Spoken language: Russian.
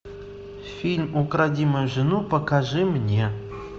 фильм укради мою жену покажи мне